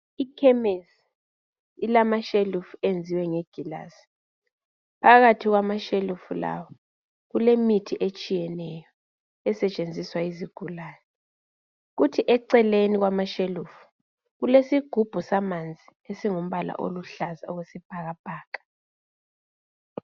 Ikhemesi ilamashelufu enziwe nge gilasi phakathi kwamashelufu lawa kulemithi etshiyeneyo esetshenziswa yizigulane kuthi eceleni kwamashelufu kulesigubhu samanzi eaingumbala oluhlaza okwesibhakabhaka